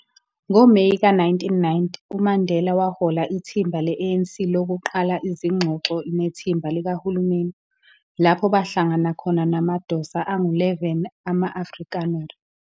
NgoMeyi ka 1990, uMandela wahola ithimba le-ANC lokuqala izingxoxo nethimba likahulumeni, lapho bahlangana khona namadosa angu 11 ama-Afrikaner.